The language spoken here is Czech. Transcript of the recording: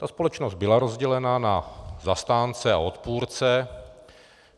Ta společnost byla rozdělená na zastánce a odpůrce.